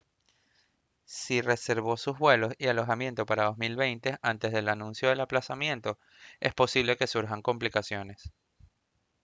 si reservó sus vuelos y el alojamiento para 2020 antes del anuncio del aplazamiento es posible que surjan complicaciones